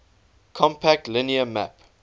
compact linear map